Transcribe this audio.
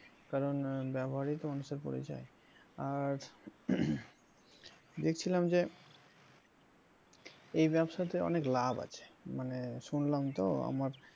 কারণ ব্যবহারেই তো মানুষের পরিচয় আর দেখছিলাম যে এই ব্যবসাতে অনেক লাভ আছে মানে শুনলাম তো আমার,